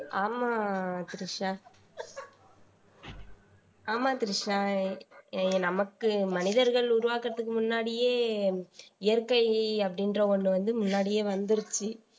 ஆமா திரிஷா ஆமா த்ரிஷா எ நமக்கு மனிதர்கள் உருவாக்கறதுக்கு முன்னாடியே இயற்கை அப்படின்ற ஒண்ணு வந்து முன்னாடியே வந்துருச்சு